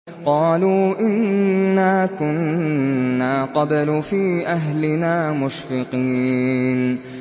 قَالُوا إِنَّا كُنَّا قَبْلُ فِي أَهْلِنَا مُشْفِقِينَ